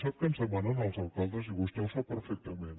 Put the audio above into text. sap què ens demanen els alcaldes i vostè ho sap perfectament